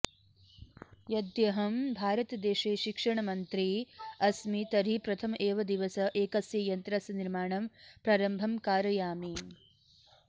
यद्यहं भारतदेशे शिक्षणमन्त्री अस्मि तर्हि प्रथम एव दिवस एकस्य यन्त्रस्य निर्माणं प्रारम्भं कारयामि